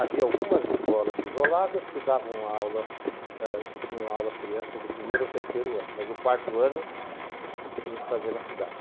Havia algumas escolas isoladas que davam aula, que tinham aula as crianças do primeiro ao terceiro ano, mas o quarto ano tinha que fazer na cidade.